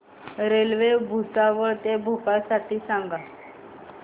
railway Bhusawal ते भोपाळ साठी सांगा